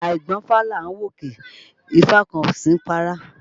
Àìgbọ́fá là ń wòkè, ifá kan kò sí ní párá